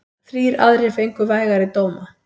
Þrír aðrir fengu vægari dóma.